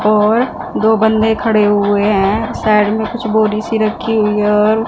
और दो बंदे खड़े हुए है साइड में कुछ बोरी सी रखी हुई और--